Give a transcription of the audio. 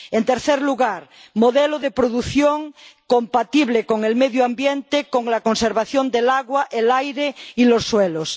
En tercer lugar modelo de producción compatible con el medio ambiente, con la conservación del agua, el aire y los suelos.